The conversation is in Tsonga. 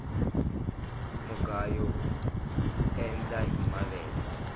mugayo uendla hi mavele